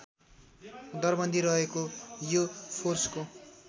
दरबन्दी रहेको यो फोर्सको